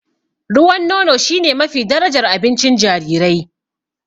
Ruwan nono shine mafi darajar abincin jarirai.